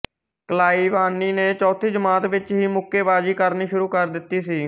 ਕਲਾਈਵਾਨੀ ਨੇ ਚੌਥੀ ਜਮਾਤ ਵਿੱਚ ਹੀ ਮੁੱਕੇਬਾਜ਼ੀ ਕਰਨੀ ਸ਼ੁਰੂ ਕਰ ਦਿੱਤੀ ਸੀ